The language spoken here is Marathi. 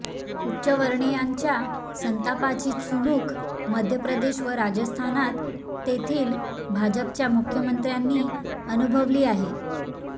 उच्चवर्णीयांच्या संतापाची चुणूक मध्य प्रदेश व राजस्थानात तेथील भाजपच्या मुख्यमंत्र्यांनी अनुभवली आहे